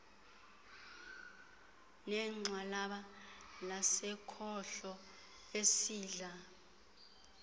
negxalaba lasekhohlo isandla